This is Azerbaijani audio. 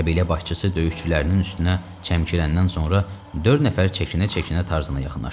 Qəbilə başçısı döyüşçülərin üstünə çəmkirəndən sonra dörd nəfər çəkinə-çəkinə Tarzana yaxınlaşdı.